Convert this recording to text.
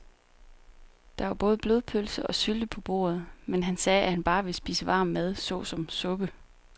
Der var både blodpølse og sylte på bordet, men han sagde, at han bare ville spise varm mad såsom suppe.